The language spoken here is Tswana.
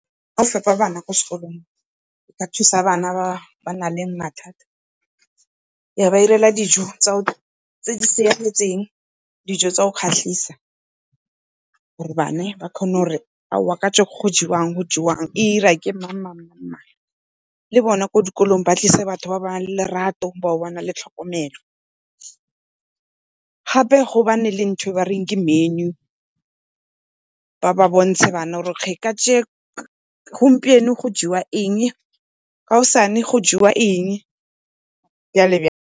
Fepa bana kwa sekolong, ba thusa bana ba ba na leng mathata. Ba ba irela dijo tse di siametseng, dijo tsa go kgatlhisa gore bana ba kgone gore aowa kajeko go jewa eng, go jewa eng, e ira ke mang , le bona ko dikolong ba tlise batho ba ba nang le lerato bao ba na le tlhokomelo. Gape gobane le ntho e bareng ke menu, ba ba bontshe bana gore gompieno go jewa eng, kaosane go jewa eng, .